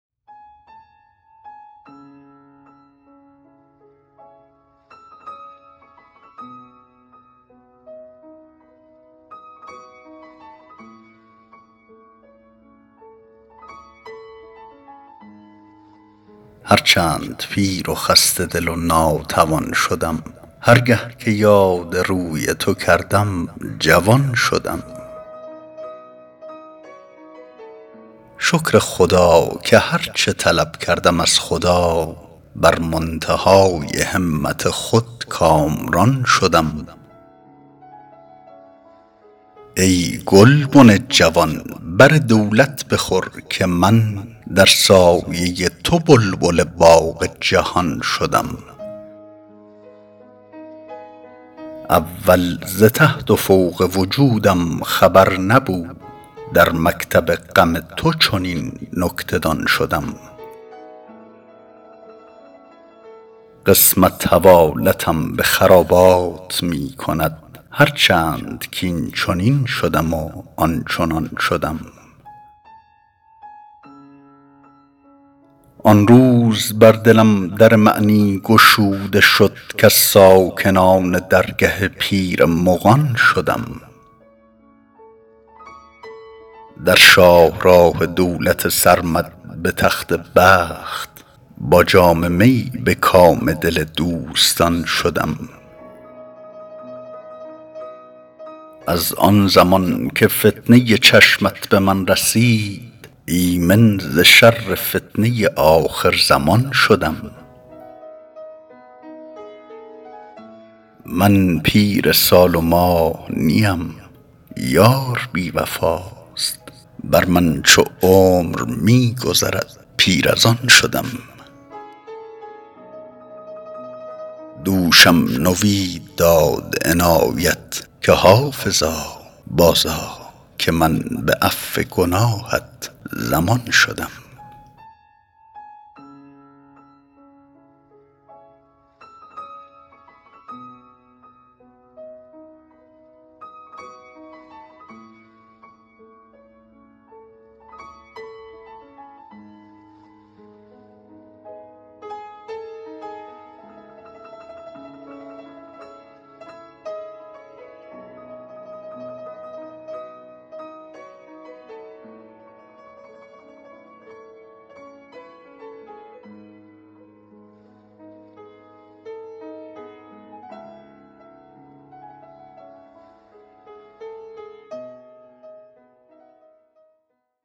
هر چند پیر و خسته دل و ناتوان شدم هر گه که یاد روی تو کردم جوان شدم شکر خدا که هر چه طلب کردم از خدا بر منتهای همت خود کامران شدم ای گلبن جوان بر دولت بخور که من در سایه تو بلبل باغ جهان شدم اول ز تحت و فوق وجودم خبر نبود در مکتب غم تو چنین نکته دان شدم قسمت حوالتم به خرابات می کند هر چند کاینچنین شدم و آنچنان شدم آن روز بر دلم در معنی گشوده شد کز ساکنان درگه پیر مغان شدم در شاه راه دولت سرمد به تخت بخت با جام می به کام دل دوستان شدم از آن زمان که فتنه چشمت به من رسید ایمن ز شر فتنه آخرزمان شدم من پیر سال و ماه نیم یار بی وفاست بر من چو عمر می گذرد پیر از آن شدم دوشم نوید داد عنایت که حافظا بازآ که من به عفو گناهت ضمان شدم